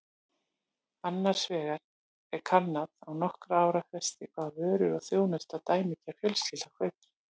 Annars vegar er kannað á nokkurra ára fresti hvaða vörur og þjónustu dæmigerð fjölskylda kaupir.